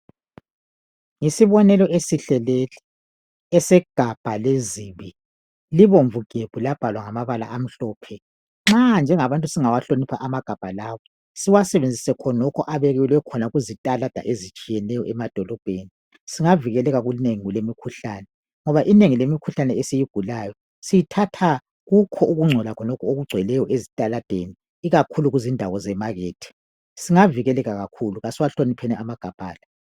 Yisibonelo esihle lesi esegabha lezibi libomvu gebhu labhalwa ngamabala amhlophe. Nxa njengabantu singawahlonipha amagabha lawa siwasebenzise khonokhu abekelwe khona kuzitalada ezitshiyeneyo emadolobheni. Singavikela kokunengi emikhuhlane ngoba inengi lemikhuhlane esiyigulayo siyithatha kukho ukungcola khonokhu okugcweleyo ezitaladeni ikakhulu kuzindawo zemakhethi. Singavikeleka kakhulu asiwahlonipheni amagabha la.